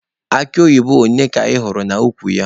Akụ oyibo ole ka ị hụrụ n'ukwu ya?